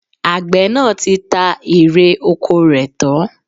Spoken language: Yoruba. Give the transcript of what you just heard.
Àgbẹ̀ náà ti ta èrè ọkọ rẹ̀ tán